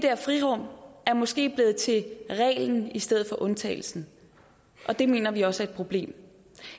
frirum måske er blevet til reglen i stedet for undtagelsen og det mener vi også er et problem